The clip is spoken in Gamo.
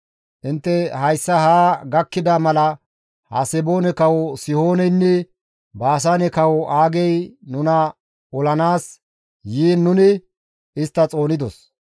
Intte hayssa haa gakkida mala Haseboone kawo Sihooneynne Baasaane kawo Aagey nuna olanaas yiin nuni istta xoonidos.